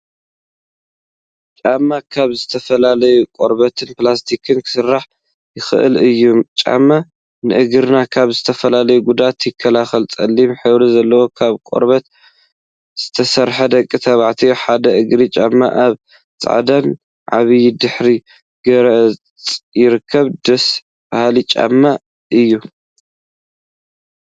ጫማ ካብ ዝተፈላለዩ ቆርበትን ፕላስቲክን ክስራሕ ይክእል እዩ፡፡ ጫማ ንእግርና ካብ ዝተፈላለዩ ጉድአት ይከላከል፡፡ ፀሊም ሕብሪ ዘለዎ ካብ ቆርበት ዝተሰርሐ ደቂ ተባዕትዮ ሓደ እግሪ ጫማ አብ ፃዕዳን ዒባን ድሕረ ገፅ ይርከብ፡፡ ደስ በሃሊ ጫማ እዩ፡፡